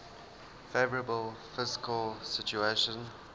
favourable fiscal situation